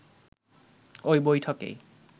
ওই বৈঠকেই